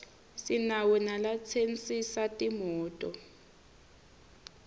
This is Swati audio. sinawo nalatsensisa timoto